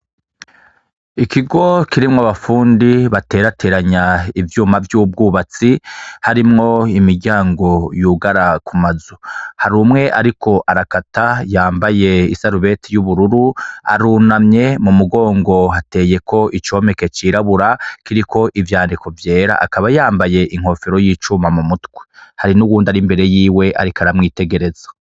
Ikigo kirimwo abafundi baterateranya ivyuma vyu bw'ubwubatsi harimwo imiryango yugara ku mazu, hari umwe ariko arakata yambaye isarubeti y'ubururu, arunamye, m'umugongo hateyeko icomeke c'irabura kiriko ivyandiko vyera, akaba yambaye inkofero y'icuma m'umutwe, hari n'uwundi ari imbere yiwe ariko aramwitegereza.